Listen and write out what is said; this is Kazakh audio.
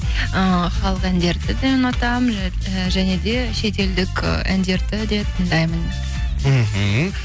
ыыы халық әндерді де ұнатамын і және де шет елдік ы әндерді де тыңдаймын мхм